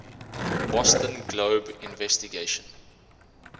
boston globe investigation